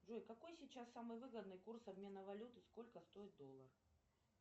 джой какой сейчас самый выгодный курс обмена валюты сколько стоит доллар